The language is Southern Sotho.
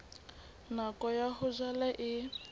nako ya ho jala e